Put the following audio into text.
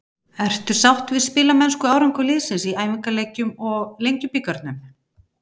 Ertu sáttur við spilamennsku og árangur liðsins í æfingaleikjum og Lengjubikarnum?